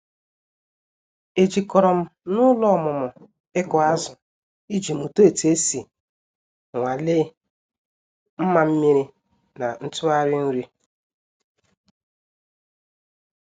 E jikọrọ m n'ụlọ ọmụmụ ịkụ azụ iji mụta otu esi nwalee mma mmiri na ntụgharị nri.